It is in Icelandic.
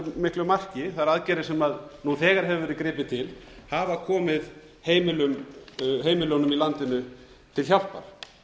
miklu marki þær aðgerðir sem nú þegar hefur verið gripið til hafa komið heimilunum í landinu til hjálpar